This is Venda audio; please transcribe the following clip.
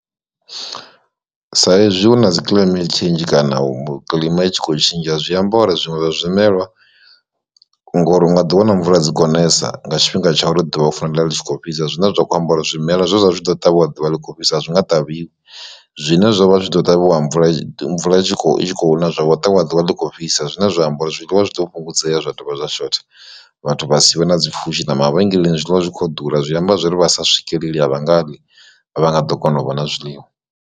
Sa ezwi hu na dzi climent tsheinzhi kana u mu kilima itshi kho tshintsha zwiamba uri zwiṅwe zwa zwimelwa ngori u nga ḓi wana mvula dzi khonesa nga tshifhinga tsha u ro ḓuvha litshi kho fhisa, zwine zwa kho ambara zwimela zwine zwa zwi tshi ḓo ṱavhiwa ḓuvha ḽi kho fhisa a zwi nga ṱavhiwi zwine zwovha zwi ḓo ṱavhiwa mvula mvula i tshi kho na zwavho ṱavhiwa ḓuvha ḽi kho fhisa zwine zwa amba uri zwiḽiwa zwi ḓo fhungudzea zwa dovha zwa shotha, vhathu vha si vhe na dzipfhushi na mavhengeleni zwiḽiwa zwi kho ḓura zwi amba zwori vha sa swikelela vha nga ḽi vha nga ḓo kona u vha na zwiḽiwa.